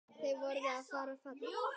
Þau verða að vera falleg.